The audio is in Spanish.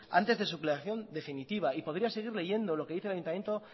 antes de creación definitiva y podría seguir leyendo lo que dice el ayuntamiento